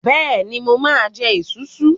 Bẹ́ẹ̀ni, mo máa ń jẹ esunsun.